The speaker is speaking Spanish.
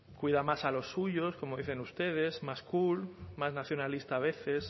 cuida más a los suyos como dicen ustedes más cool más nacionalista a veces